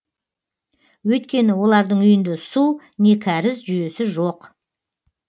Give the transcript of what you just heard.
өйткені олардың үйінде су не кәріз жүйесі жоқ